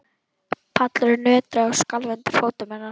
Pallurinn nötraði og skalf undir fótum hennar.